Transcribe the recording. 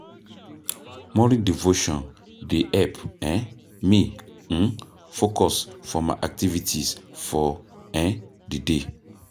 Morning devotion dey help um me um focus for my activities for um di day.